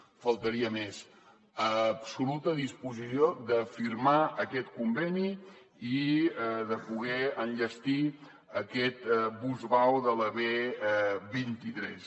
només faltaria absoluta disposició de firmar aquest conveni i de poder enllestir aquest bus vao de la b vint tres